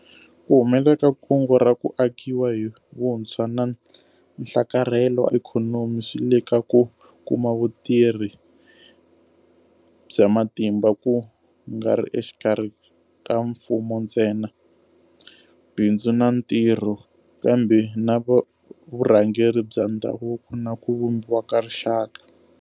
Ku humelela ka Kungu ra ku Akiwa hi vuntshwa na Nhlakarhelo wa Ikhonomi swi le ka ku kuma vutirhi bya matimba ku nga ri exikarhi ka mfumo ntsena, bindzu na ntirho, kambe na vurhangeri bya ndhavuko na ku vumbiwa ka rixaka.